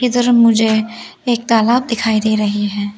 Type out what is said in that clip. इधर मुझे एक तालाब दिखाई दे रही है।